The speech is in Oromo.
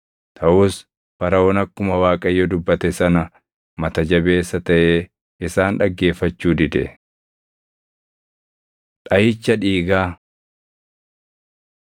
Taʼus Faraʼoon akkuma Waaqayyo dubbate sana mata jabeessa taʼee isaan dhaggeeffachuu dide. Dhaʼicha Dhiigaa